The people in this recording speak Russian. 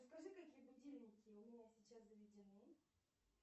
расскажи какие будильники у меня сейчас заведены